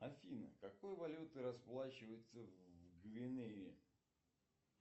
афина какой валютой расплачиваются в гвинее